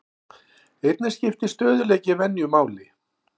Einnig skiptir stöðugleiki venju máli.